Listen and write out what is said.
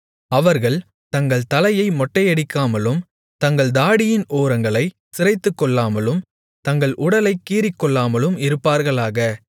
அவர்கள் தங்கள் தலையை மொட்டையடிக்காமலும் தங்கள் தாடியின் ஓரங்களைச் சிரைத்துக்கொள்ளாமலும் தங்கள் உடலைக் கீறிக்கொள்ளாமலும் இருப்பார்களாக